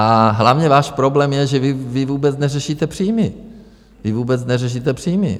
A hlavně váš problém je, že vy vůbec neřešíte příjmy, vy vůbec neřešíte příjmy!